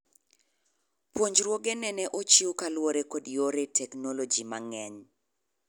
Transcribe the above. Puonjruoge nene ochiw kaluwore kod yore technologi mang'eny